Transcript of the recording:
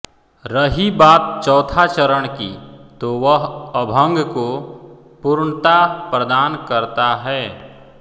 रही बात चौथा चरण की तो वह अभंग को पूर्णता प्रदान करता है